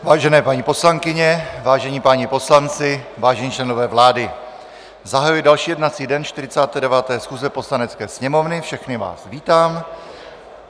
Vážené paní poslankyně, vážení páni poslanci, vážení členové vlády, zahajuji další jednací den 49. schůze Poslanecké sněmovny, všechny vás vítám.